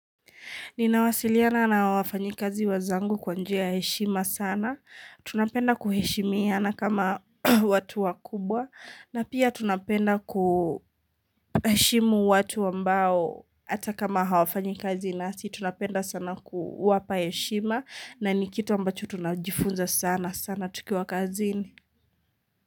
Ninawasiliana na wafanyikazi wenzangu kwa njia ya heshima sana. Tunapenda kuheshimiana kama watu wakubwa. Na pia tunapenda kuheshimu watu ambao hata kama hawafanyikazi nasi. Tunapenda sana kuwapa heshima na ni kitu ambacho tunajifunza sana sana tukiwa kazini.